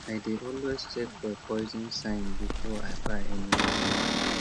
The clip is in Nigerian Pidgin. i dey always check for poison sign before i buy any chemical